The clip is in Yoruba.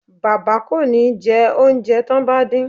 Bàbá kò ní jẹ oúnjẹ tán bá dín